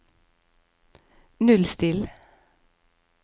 nullstill